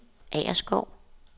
Agerskov